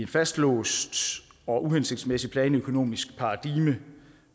fastlåst og uhensigtsmæssigt planøkonomisk paradigme